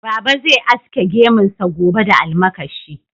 Baba zai aske gemunsa gobe da almakashi.